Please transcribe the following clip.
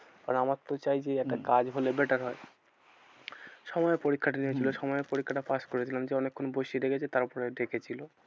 আর আমারতো চাই যে হম একটা কাজ হলে better হয়। সময়ের পরীক্ষা টা নিয়েছিল হম সময়ের পরীক্ষাটা pass করেছিলাম যে অনেক্ষন বসিয়ে রেখেছে তারপরে ডেকেছিল।